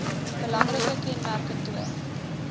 belangrike kenmerke toon